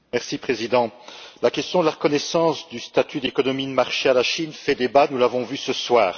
Monsieur le Président, la question de la reconnaissance du statut d'économie de marché à la Chine fait débat, nous l'avons vu ce soir.